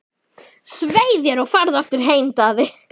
Svei þér og farðu aftur heim, Daði!